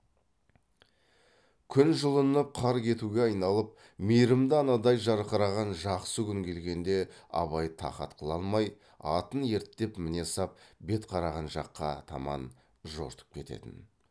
күн жылынып қар кетуге айналып мейірімді анадай жарқыраған жақсы күн келгенде абай тақат қыла алмай атын ерттеп міне сап бет қараған жаққа таман жортып кететін